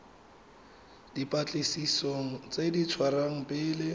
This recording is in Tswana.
dipatlisisong tse di dirwang pele